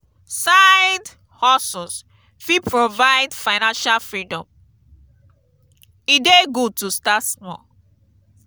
side-hustles fit provide financial freedom; e dey good to start small.